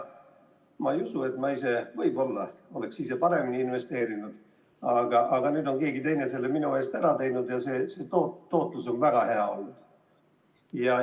Ma ei usu, et ma ise oleksin paremini investeerinud – no võib-olla oleksin, aga nüüd on keegi teine selle minu eest ära teinud ja tootlus on väga hea olnud.